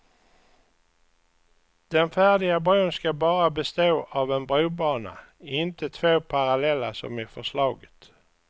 Den färdiga bron ska bara bestå av en brobana, inte två parallella som i förslaget.